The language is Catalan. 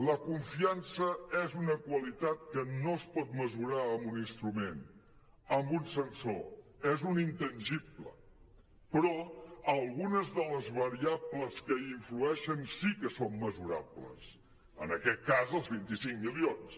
la confiança és una qualitat que no es pot mesurar amb un instrument amb un sensor és un intangible però algunes de les variables que hi influeixen sí que són mesurables en aquest cas els vint cinc milions